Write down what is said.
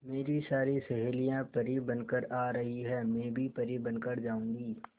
मेरी सारी सहेलियां परी बनकर आ रही है मैं भी परी बन कर जाऊंगी